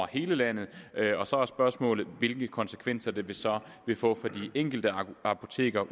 i hele landet og så er spørgsmålet hvilke konsekvenser det så vil få for de enkelte apoteker